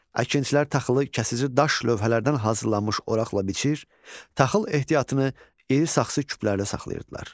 Əkinçilər taxılı kəsici daş lövhələrdən hazırlanmış oraqla biçir, taxıl ehtiyatını iri saxsı küplərdə saxlayırdılar.